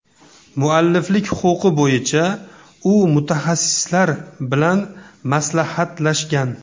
Mualliflik huquqi bo‘yicha u mutaxassislar bilan maslahatlashgan.